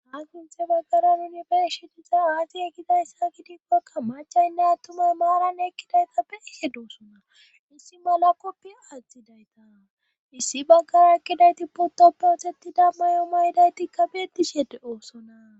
ha sinthe baggaran yunibershidiza aazi e kidayssa gidikkekka macaynne attumay maaran ekkidaytappe ishe doosuna issi mala koppi adzidayta issi baggara ekkidayti pottoppe otettida mayo maydaytikka beettishede doosona